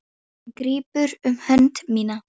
Hann grípur um hönd mína.